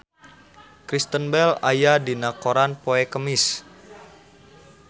Kristen Bell aya dina koran poe Kemis